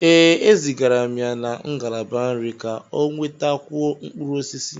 Ee, e zigara m ya na ngalaba nri ka ọ nwètakwuó mkpụrụ osisi